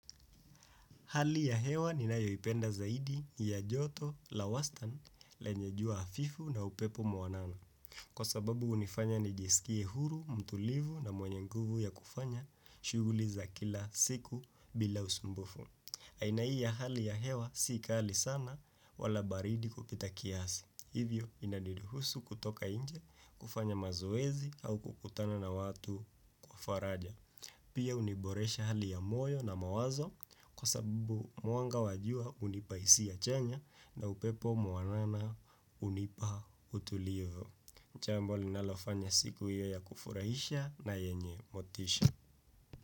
Hali ya hewa ninayoipenda zaidi ni ya joto la wastani lenye jua hafifu na upepo mwanana. Kwa sababu hunifanya nijisikie huru, mtulivu na mwenye nguvu ya kufanya shughuli za kila siku bila usumbufu. Aina hii ya hali ya hewa si kali sana wala baridi kupita kiasi. Hivyo inaniruhusu kutoka nje, kufanya mazoezi au kukutana na watu wa faraja. Pia huniboresha hali ya moyo na mawazo kwa sababu mwanga wa jua unipaisi hisia chanya na upepo mwanana hunipa utulivu. Jambo linalofanya siku hiyo ya kufurahisha na yenye motisha.